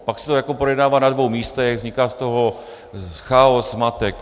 Pak se to projednává na dvou místech, vzniká z toho chaos, zmatek.